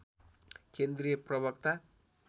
केन्द्रीय प्रवक्ता